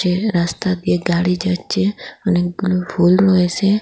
এ রাস্তা দিয়ে গাড়ি যাচ্ছে অনেকগুলো ফুল রয়েসে ।